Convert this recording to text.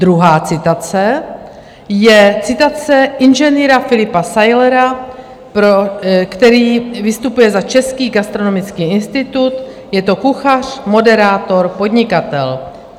Druhá citace je citace inženýra Filipa Sajlera, který vystupuje za Český gastronomický institut, je to kuchař, moderátor, podnikatel.